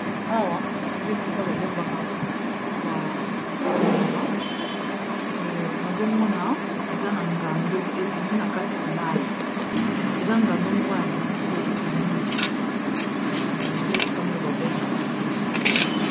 Awa eza esika ba bombaka ba nyama, nazo mona eza na ngando ebimi na kati ya mayi. Eza ngando moko ya mokie ebimi eza esika moko ba bombaka yango.